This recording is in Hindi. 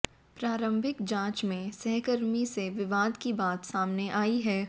प्रारंभिक जांच में सहकर्मी से विवाद की बात सामने आई है